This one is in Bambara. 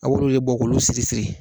Auru ye bɔkolo siri siri